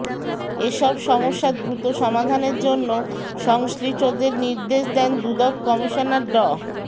এ সব সমস্যা দ্রুত সমাধানের জন্য সংশ্লিষ্টদের নির্দেশ দেন দুদক কমিশনার ড